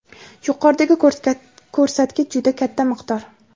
Yuqoridagi ko‘rsatkich juda katta miqdor.